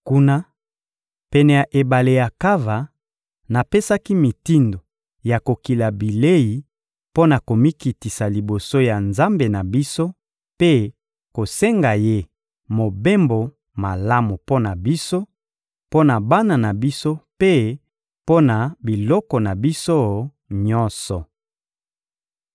Kuna, pene ya ebale Akava, napesaki mitindo ya kokila bilei mpo na komikitisa liboso ya Nzambe na biso mpe kosenga Ye mobembo malamu mpo na biso, mpo na bana na biso mpe mpo na biloko na biso nyonso.